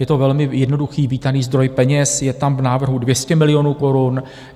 Je to velmi jednoduchý, vítaný zdroj peněz, je tam v návrhu 200 milionů korun.